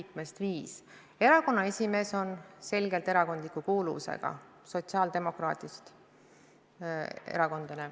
Komisjoni esimees on selgelt erakondliku kuuluvusega, ta on sotsiaaldemokraat.